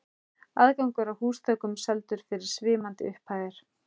Aðgangur að húsþökum seldur fyrir svimandi upphæðir.